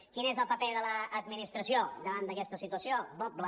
quin és el paper de l’administració davant d’aquesta situació doble